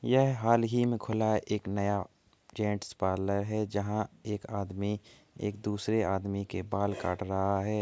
यह हाल ही में खुला एक नया जेन्स पार्लर हैं। जहाँ एक आदमी एक दूसरे आदमी के बाल काट रहा है।